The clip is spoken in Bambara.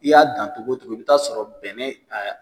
I y'a dan cogo o cogo i bɛ t'a sɔrɔ bɛnɛ a